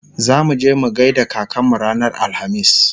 zamuje mu gaida kakanmu ranar alhamis